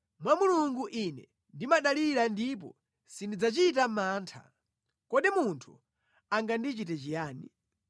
mwa Mulungu ine ndimadalira ndipo sindidzachita mantha. Kodi munthu angandichite chiyani?